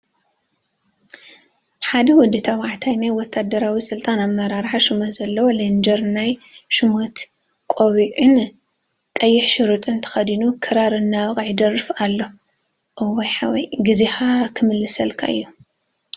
ሓደ ወዲ ተባዕታይ ናይ ወታደራዊ ስልጣን አመራርሓ ሽመት ዘለዎ ሌንጀርን ናይ ሽመት ቆቢዕን ቀይሕ ሸሪጥን ተከዲኑ ክራር እናወቅዐ ይደርፍ አሎ፡፡ እዋይ ሓወይ ጊዜካ ክምለሰልካ እዩ፡፡